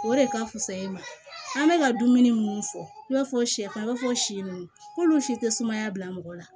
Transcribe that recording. O de ka fusa i ma an bɛ ka dumuni minnu fɔ i b'a fɔ sɛfan i b'a fɔ si nunnu k'olu si tɛ sumaya bila mɔgɔ la